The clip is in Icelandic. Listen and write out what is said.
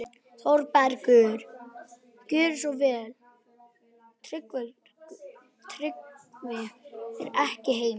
ÞÓRBERGUR: Gjörðu svo vel, Tryggvi er ekki heima.